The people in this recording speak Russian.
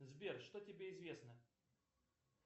сбер что тебе известно